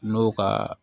N'o ka